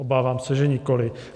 Obávám se, že nikoli.